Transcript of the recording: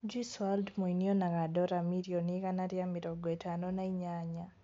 Juice WRLD mũini onaga Dora mirioni igana rĩa mĩrongo ĩtano na inyanya